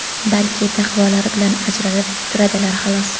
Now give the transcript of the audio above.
balki taqvolari bilan ajralib turadilar, xolos.